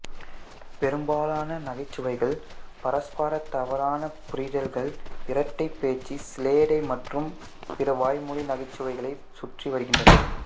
பெரும்பாலான நகைச்சுவைகள் பரஸ்பர தவறான புரிதல்கள் இரட்டை பேச்சு சிலேடை மற்றும் பிற வாய்மொழி நகைச்சுவைகளைச் சுற்றி வருகின்றன